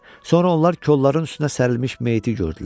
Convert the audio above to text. Sonra onlar kolların üstünə sərilmiş meyiti gördülər.